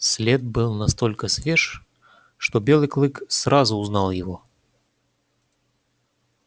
след был настолько свеж что белый клык сразу узнал его